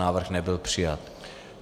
Návrh nebyl přijat.